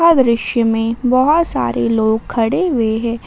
दृश्य में बहुत सारे लोग खड़े हुए हैं।